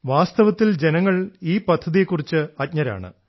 വാസ്തവത്തിൽ ജനങ്ങൾ ഈ പദ്ധതിയെ കുറിച്ച് അജ്ഞരാണ്